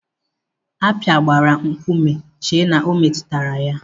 Akpi gbara nkume chee na o metụtara ya.